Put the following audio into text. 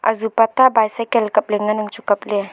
azupa ta e bicycle kap ley ngan ang chu kapley.